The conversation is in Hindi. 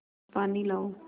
पानी लाओ